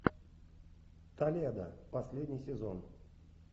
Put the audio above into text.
толедо последний сезон